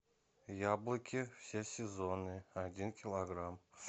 яблоки все сезоны один килограмм